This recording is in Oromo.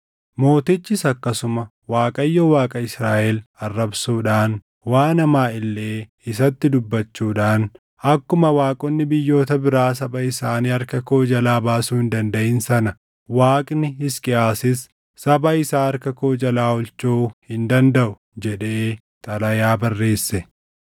Mootichis akkasuma Waaqayyo Waaqa Israaʼel arrabsuudhaan, waan hamaa illee isatti dubbachuudhaan, “Akkuma waaqonni biyyoota biraa saba isaanii harka koo jalaa baasuu hin dandaʼin sana Waaqni Hisqiyaasis saba isaa harka koo jalaa oolchuu hin dandaʼu” jedhee xalayaa barreesse.